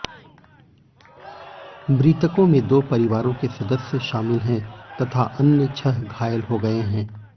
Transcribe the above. मृतकों में दो परिवारों के सदस्य शामिल हैं तथा छह अन्य घायल हो गए हैं